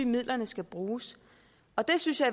midlerne skal bruges og det synes jeg